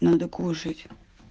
надо кушать